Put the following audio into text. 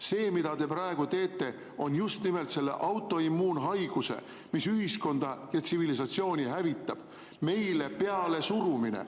See, mida te praegu teete, on just nimelt selle autoimmuunhaiguse, mis ühiskonda ja tsivilisatsiooni hävitab, meile pealesurumine.